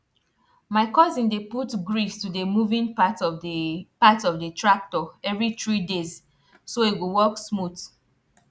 my cousin dey put grease to the moving parts of the parts of the tractor every three days so e go work smooth